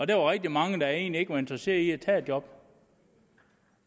der var rigtig mange der egentlig ikke var interesseret i at tage et job